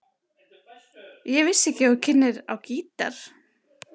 Ég vissi ekki að þú kynnir á gítar.